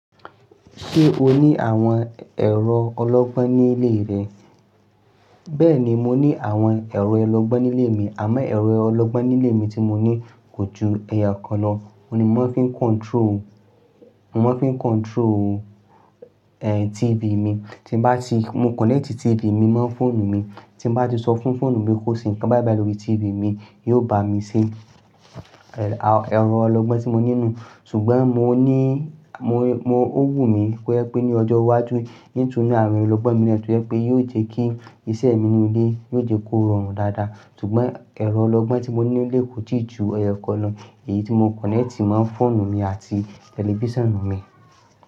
Ṣé o ní àwọn ẹ̀rọ ọlọ́gbọ́n nílé rẹ̀? Beeni mo ni awon ero ologbon nile mi amo ero ologbon nile mi ti mo ni ko ju eyokan lo oun ní mo maa n fi ń control, mo máa ń fi ń control, ẹ, TV mi. Tí bá ti, mo connect TV mi mọ́ fóònù mi, tí bá ti sọ fún fóònù mi kó ṣe nǹkan báìbàì lórí TV mi, yóò bá mi ṣe. Ẹ̀rọ ọlọ́gbọ́n tí mo ní nù. Ṣùgbọ́n mo ní, mo, mo, ó wù mí kó yẹ pé ní ọjọ́ iwájú in tun ni àwọn ẹrọ ọlọ́gbọ́n mi to jẹ́ pé yóò jẹ́ kí iṣẹ́ mi nínú ilé, yóò jẹ́ kó rọrùn dáadáa. Ṣùgbọ́n ẹ̀rọ ọlọ́gbọ́n tí mo ní nílé kò ti ju ẹyookan lọ èyí tí mo connect mo fóònù mi àti tẹlifíṣàn mi.